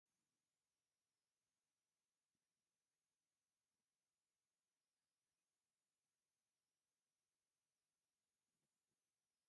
ኣብ ዝትዕሸገ ኣቅሕ ን ምግብነት ዘገልግል ኣሎ ሹሙ ድማ ኣብ ባዕሉ ተለጢፉ ኣሎ ። ዋጋ ናይቲ ዝተዕሸገ ክንደይ እዩ ?